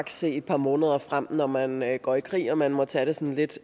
se et par måneder frem når man man går i krig og at man må tage det sådan lidt